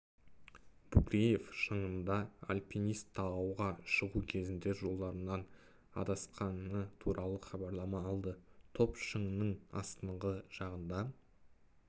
букреев шыңында альпинист тауға шығу кезінде жолдарынан адасқаны туралы хабарлама алды топ шыңның астыңғы жағында